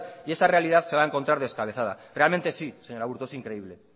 y esa realidad se va a encontrar descabezada realmente sí señor aburto es increíble